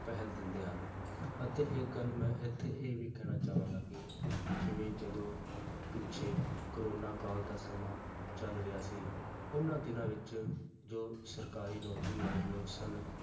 ਪਹਿਲ ਦਿੰਦੇ ਹਨ ਅਤੇ ਇੱਕ ਗੱਲ ਮੈਂ ਇੱਥੇ ਇਹ ਵੀ ਕਹਿਣਾ ਚਾਹਾਂਗਾ ਕਿ ਜਿਵੇਂ ਜਦੋਂ ਪਿੱਛੇ ਕੋਰੋਨਾ ਕਾਲ ਦਾ ਸਮਾਂ ਚੱਲ ਰਿਹਾ ਸੀ, ਉਹਨਾਂ ਦਿਨਾਂ ਵਿੱਚ ਜੋ ਸਰਕਾਰੀ ਨੌਕਰੀ ਵਾਲੇ ਲੋਕ ਸਨ,